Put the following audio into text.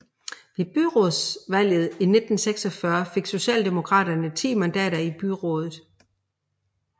Ved byrådsvalget i 1946 fik Socialdemokraterne 10 mandater i byrådet